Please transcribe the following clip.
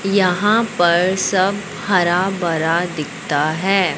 यहां पर सब हरा भरा दिखता है।